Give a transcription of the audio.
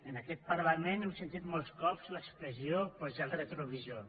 en aquest parlament hem sentit molts cops l’expressió posar el retrovisor